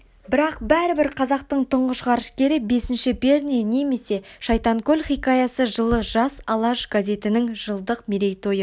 бірақ бәрібір қазақтың тұңғыш ғарышкері бесінші перне немесе шайтанкөл хикаясы жылы жас алаш газетінің жылдық мерейтойы